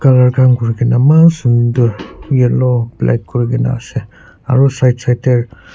kam kori kina eman sudar yellow black kori kina ase aru side side te.